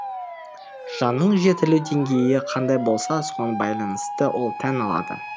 жанның жетілу деңгейі қандай болса соған байланысты ол тән алады